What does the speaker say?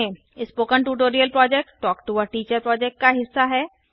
spoken tutorial project talk to a teacher project का हिस्सा है